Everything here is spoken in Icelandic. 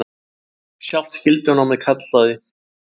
Sjálft skyldunámið kallaði.